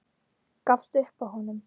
Gafst upp á honum.